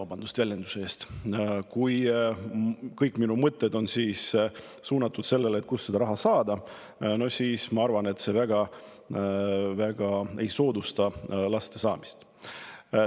Kui aga kõik minu mõtted on suunatud sellele, et kust saada raha, no siis ma arvan, et see väga ei soodusta laste saamist.